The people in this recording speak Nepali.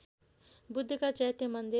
बुद्धका चैत्य मन्दिर